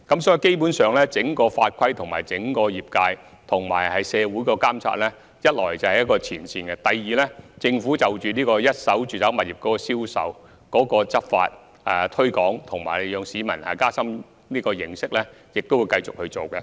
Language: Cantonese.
所以，基本上，第一，整個法規、整個業界和社會的監察，是位於最前線的；第二，政府在一手住宅物業銷售的執法、以及推廣和加深市民的認識方面，也會繼續進行工作。